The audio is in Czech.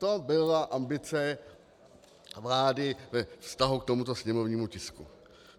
To byla ambice vlády ve vztahu k tomuto sněmovnímu tisku.